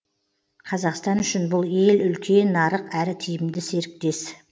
қазақстан үшін бұл ел үлкен нарық әрі тиімді серіктес